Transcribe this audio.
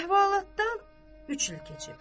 Əhvalatdan üç il keçib.